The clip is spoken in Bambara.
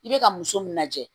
I bɛ ka muso min lajɛ